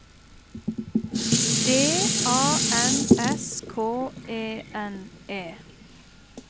D A N S K E N E